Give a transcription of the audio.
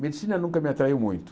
Medicina nunca me atraiu muito.